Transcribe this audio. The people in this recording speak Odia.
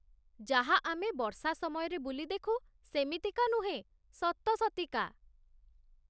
ଯାହା ଆମେ ବର୍ଷା ସମୟରେ ବୁଲି ଦେଖୁ, ସେମିତିକା ନୁହେଁ, ସତସତିକା